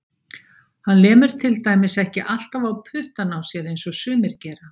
Hann lemur til dæmis ekki alltaf á puttana á sér eins og sumir gera.